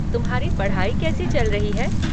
तुम्हारी पढ़ाई कैसी चल रही है?